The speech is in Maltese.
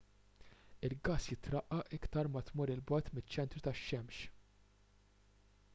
il-gass jitraqqaq iktar ma tmur il bogħod miċ-ċentru tax-xemx